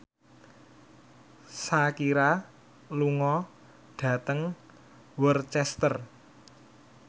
Shakira lunga dhateng Worcester